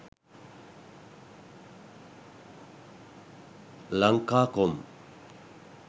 lankacom